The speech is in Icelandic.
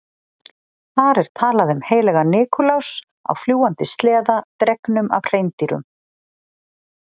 Þar er talað um heilagan Nikulás á fljúgandi sleða dregnum af hreindýrum.